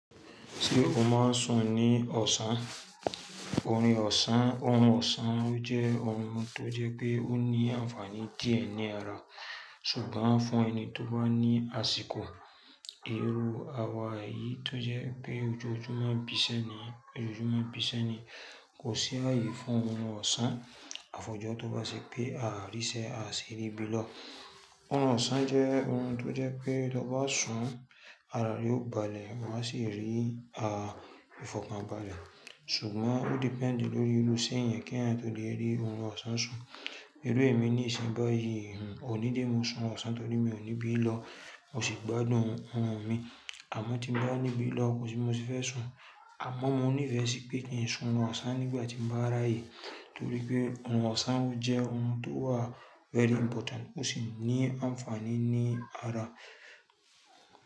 Ṣé o máa ń ṣun ní ọ̀ṣán? Orun ọ̀ṣán, orun ọ̀ṣán jẹ́ orun tó jẹ́ pé ó ní ànfàní díẹ̀ ní ara. Ṣùgbọ́n fún ẹni tó bá ní àsìkò, irú àwa yii tó jẹ́ pé ojoojúmọ́ bísẹ́ ni, kò sí ààyè fún orun ọ̀ṣán. Àfojọ́ tó bá ṣe pé a ríṣẹ́, a ṣiri bí lọ́. Òrun ọ̀ṣán jẹ́ òrun tó jẹ́ pé tó bá ṣun, ara rẹ ó balẹ̀, wa sì rí a ìfọ̀kànbalẹ̀. Ṣùgbọ́n ó depend lórí iru iṣẹ èèyán kí ẹeyan tó lè rí orun ọ̀ṣán sun. Irú èmi nísìn báyìí, òní lémi o ṣun'run ọ̀ṣán torí mi ò níbi lọ, mò sì gbádùn oorun mi. Àmọ́ tí n bá nibi lọ kò sì bi mo sì fẹ́ ṣùn. Àmọ́ mo nífẹ̀ẹ́ sí pé kí n ṣùn oorun ọ̀ṣán nígbà tí mo bá rà á yìí. Torí pé ohun ọ̀ṣán jẹ́ ohun tó wà very important ó sì ní ànfàní ní ara.